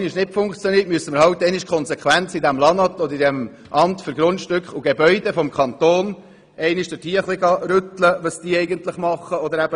Wenn es nicht funktioniert, müssen wir eben beim LANAT oder beim Amt für Gemeinden und Raumordnung (AGR) nachhaken und fragen, was denn eigentlich gemacht werde.